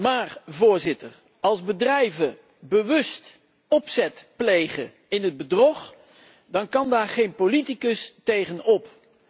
Maar Voorzitter, als bedrijven bewust opzet plegen in het bedrog, dan kan daar geen politicus tegen op.